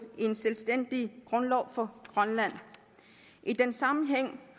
en selvstændig grundlov for grønland i den sammenhæng